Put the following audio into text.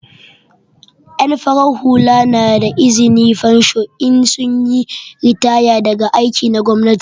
En farar hula na da izni na fensho in sun yi ritaya daga aikin gwamnati.